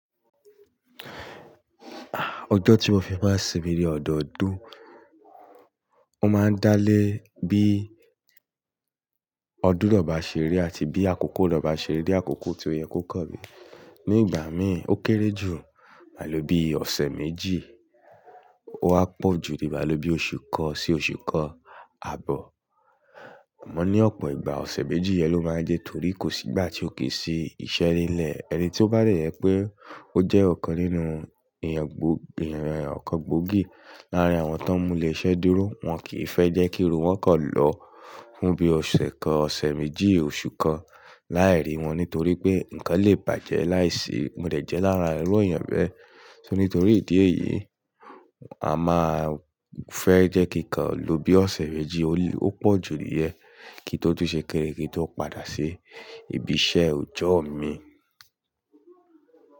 Ọjọ́ tí mo fi máa sinmi ní ọ̀dọ́ ọdún, ó máa ń dáalé bí ọdún nà bá ṣeré ri àti bí àkókò nà bá ṣeré ri, ní àkókò tí oye kó kan mi. Ní ìgbà mí, ó kéré jù mà lo bí ọ̀sẹ̀ méjì, ó wá pọ̀ jù ni mà lo bí oṣù kan sí oṣù kan àbọ̀. Àmọ́ ní ọ̀pọ̀ ìgbà ọ̀sẹ̀ méjì yẹn ló máa ń jẹ́ torí kò sí ìgbà tí ó kì í ṣe iṣẹ́ nílẹ̀. Ẹni tí ó bá de je pé ó jẹ́ ọ̀kan nínú ìyàn gbó-- ìyàn kàn gbòógì láàárín àwọn tó ń mú ilé iṣẹ́ dúró, wọ́n kì í fẹ́ jẹ́ kí irú wọ́n kọ̀ lọ fún bí ọ̀sẹ̀ kan, ọ̀sẹ̀ méjì, oṣù kan láàárí wọn nítorí pé nǹkan le bàjẹ́ láìsí. Mo dẹ̀ jẹ́ lára irú èèyàn bẹ́ẹ̀. Ṣó ní torí ìdí èyí, a máa fẹ́ jẹ́ kí nǹkan lo bí ọ̀sẹ̀ méjì, ó lè-- ó pọ̀ jù nìyẹn kí n tó tún ṣe kini, kí n tó padà ṣe ibi iṣẹ́ ọjọ́ mi.